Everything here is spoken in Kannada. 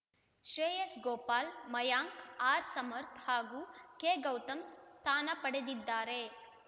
ಶ್ರೇಯಸ್‌ ಗೋಪಾಲ್‌ ಮಯಾಂಕ್‌ ಆರ್‌ಸಮರ್ಥ್ ಹಾಗೂ ಕೆಗೌತಮ್‌ ಸ್ಥಾನ ಪಡೆದಿದ್ದಾರೆ